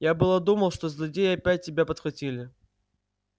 я было думал что злодеи опять тебя подхватили